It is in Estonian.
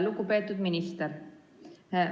Lugupeetud minister!